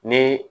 Ni